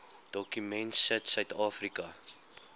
dokument sit suidafrika